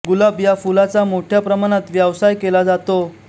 गुलाब या फुलाचा मोठ्या प्रमाणात व्यावसाय केला जातो